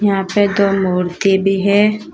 यहां पे दो मूर्ति भी है।